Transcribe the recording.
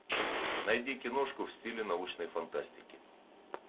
найди киношку в стиле научной фантастики